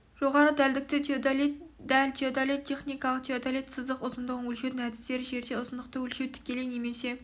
жоғарғы дәлдікті теодолит дәл теодолит техникалық теодолит сызық ұзындығын өлшеудің әдістері жерде ұзындықты өлшеу тікелей немесе